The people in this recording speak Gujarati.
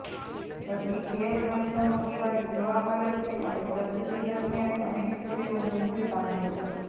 હજી ઘેર પ્રસવનો રિવાજ જોવા મળે છે અને પ્રસૂતિ દરમ્યાન અનેક સ્ત્રીઓ મૃત્યુ પામે છે